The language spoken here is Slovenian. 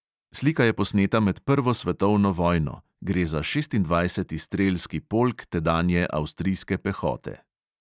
Slika je posneta med prvo svetovno vojno, gre za šestindvajseti strelski polk tedanje avstrijske pehote.